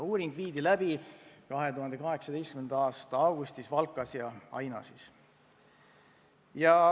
Uuring viidi läbi 2018. aasta augustis Valkas ja Ainažis.